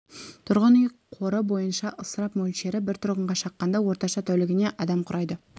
тұрғын үй қоры бойынша ысырап мөлшері бір тұрғынға шаққанда орташа тәулігіне адам құрайды